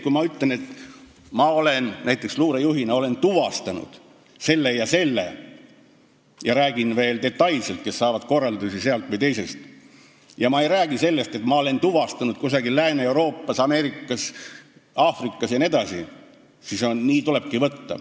Kui ma ütlen, et ma olen näiteks luurejuhina tuvastanud selle ja selle, räägin veel detailselt, kes saavad korraldusi sealt või teisest kohast, ja ma ei räägi sellest, et ma olen seda kõike tuvastanud kusagil Lääne-Euroopas, Ameerikas, Aafrikas jne, siis nii tulebki seda võtta.